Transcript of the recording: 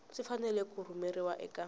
swi fanele ku rhumeriwa eka